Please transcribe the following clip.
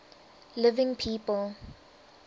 living people